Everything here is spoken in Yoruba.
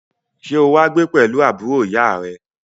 Sẹ́ o wá gbé pẹ̀lú àbúrò ìyá à rẹ?